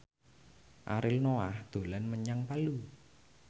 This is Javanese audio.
Ariel Noah dolan menyang Palu